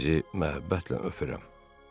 Sizi məhəbbətlə öpürəm.